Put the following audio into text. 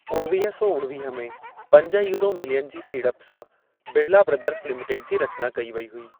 उणवीह सौ उणवीह में पंज यूरो मिलियन जी सीड़प सां, बिड़ला ब्रदर्स लिमिटेड जी रचना कई वई हुई।